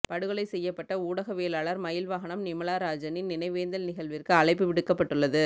படுகொலை செய்யப்பட்ட ஊடகவியலாளர் மயில்வாகனம் நிமலராஜனின் நினைவேந்தல் நிகழ்விற்கு அழைப்பு விடுக்கப்பட்டுள்ளது